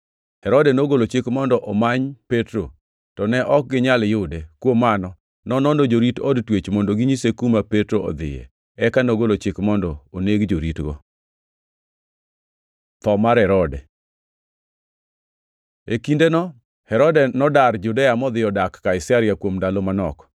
Herode nogolo chik mondo omany Petro, to ne ok ginyal yude. Kuom mano, nonono jorit od twech mondo ginyise kuma Petro odhiye, eka nogolo chik mondo oneg joritogi. Tho mar Herode Kindeno Herode nodar Judea modhi odak Kaisaria kuom ndalo manok.